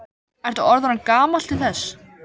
Ertu orðinn of gamall til þess?